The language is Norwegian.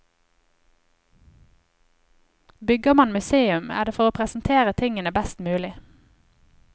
Bygger man museum, er det for å presentere tingene best mulig.